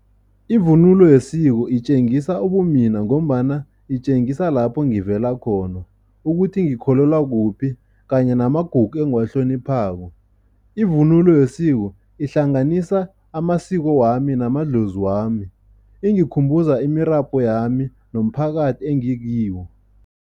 Ivunulo yesiko itjengisa ubumina ngombana itjengisa lapho ngivela khona, ukuthi ngikholelwa kuphi kanye namagugu engiwahloniphako. Ivunulo yesiko ihlanganisa amasiko wami namadlozi wami, ingikhumbuza imirabhu yami nomphakathi engikiwo.